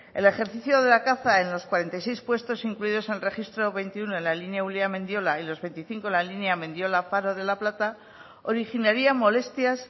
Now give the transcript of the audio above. el ejercicio de la caza en los cuarenta y seis puestos incluidos en el registro veintiuno de la línea ulia mendiola y los veinticinco en la línea mendiola faro de la plata originaría molestias